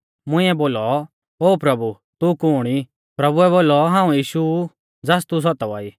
मुंइऐ बोलौ ओ प्रभु तू कुण ई प्रभुऐ बोलौ हाऊं यीशु ऊ ज़ास तू सतावा ई